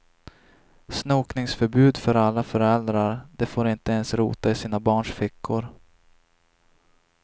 Snokningsförbud för alla föräldrar, de får inte ens rota i sina barns fickor.